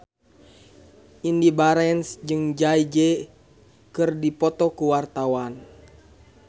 Indy Barens jeung Jay Z keur dipoto ku wartawan